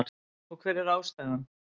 Og hver er ástæðan?